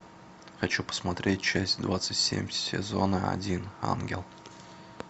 хочу посмотреть часть двадцать семь сезона один ангел